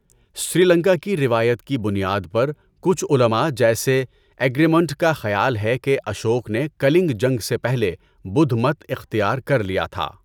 سری لنکا کی روایت کی بنیاد پر، کچھ علماء، جیسے ایگرمونٹ کا خیال ہے کہ اشوک نے کَلنگ جنگ سے پہلے بدھ مت اختیار کر لیا تھا۔